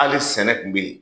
Hali sɛnɛ tun bɛ yen,